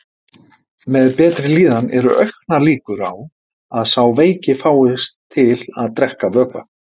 Með betri líðan eru auknar líkur á að sá veiki fáist til að drekka vökva.